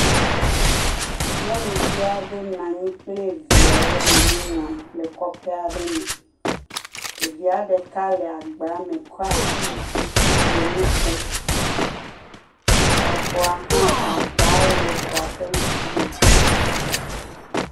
Nyɔnuvi aɖe nɔ anyi kple viawo le nu nyam le kɔƒe aɖe me. Evia ɖeka le agba me kɔ asi yi dzi le nu kom. Exɔa hã aba le xɔa ƒe ŋku me.